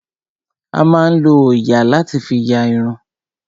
A máa ń lo òòyà láti fí ya irun.